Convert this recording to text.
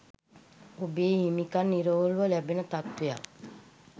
ඔබේ හිමිකම් නිරවුල්ව ලැබෙන තත්ත්වයක්